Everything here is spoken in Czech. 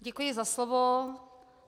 Děkuji za slovo.